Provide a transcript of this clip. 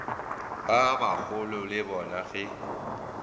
ba bagolo le bona ge